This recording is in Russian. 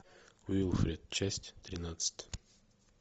уилфред часть тринадцать